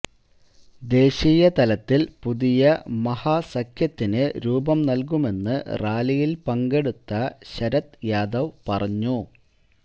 ദേശീയ തലത്തില് പുതിയ മഹാസഖ്യത്തിന് രൂപം നല്കുമെന്ന് റാലിയില് പങ്കെടുത്ത ശരദ് യാദവ് പറഞ്ഞു